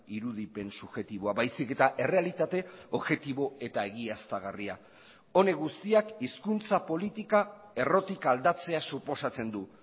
irudipen subjektiboa baizik eta errealitate objektibo eta egiaztagarria honek guztiak hizkuntza politika errotik aldatzea suposatzen du